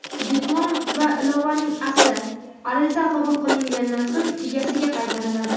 diplom va ilovaning asli (ariza qabul qilingandan so‘ng egasiga qaytariladi);.